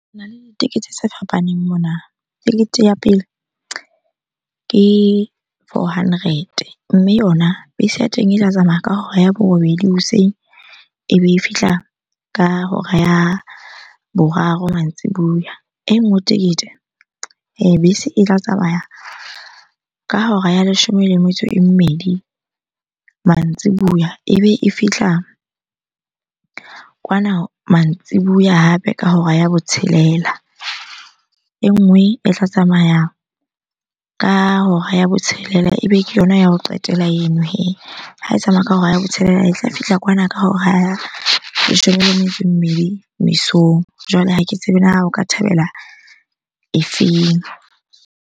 Hona le ditekesi tse fapaneng mona. Tekete ya pele ke four hundred-e, mme yona bese ya teng e tla tsamaya ka hora ya borobedi hoseng ebe e fihla ka hora ya boraro mantsibuya. E nngwe tekete bese e tla tsamaya ka hora ya leshome le metso e mmedi mantsibuya ebe e fihla kwana mantsibuya hape ka hora ya botshelela. E nngwe e tla tsamaya ka hora ya botshelela ebe ke yona ya ho qetela eno hee. Ha e tsamaya ka hora ya botshelela e tla fihla kwana ka hora ya leshome le metso e mmedi mesong. Jwale ha ke tsebe na o ka thabela e feng?